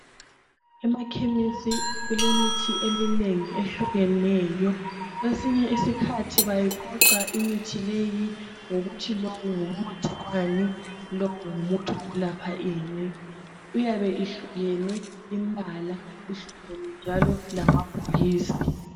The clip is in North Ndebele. Emakhemesi kulemithi eminengi ehlukeneyo. Kwesinye isikhathi bayiqoqa imithi leyi ngokuthi lo ngumuthi wani, lomuthi wokulapha ini, iyabe ihlukene imbala, ihlukene njalo ngamabhokisi.